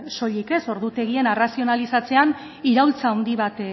soilik ordutegien arrazionalizatzean iraultza handi bat